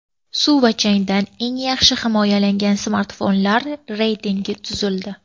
Suv va changdan eng yaxshi himoyalangan smartfonlar reytingi tuzildi.